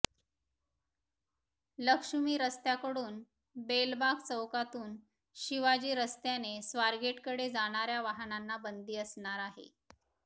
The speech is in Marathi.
लक्ष्मी रस्त्याकडून बेलबाग चौकातून शिवाजी रस्त्याने स्वारगेटकडे जाणाऱ्या वाहनांना बंदी असणार आहे